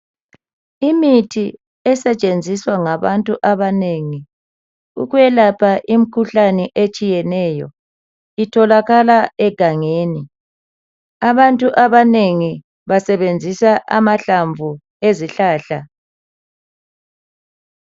Imithi esetshenziswa ngabantu abanengi okwelapha imikhuhlane etshiyeneyo, itholakala egangeni. Abantu abanengi basebenzisa amahlamvu ezihlahla.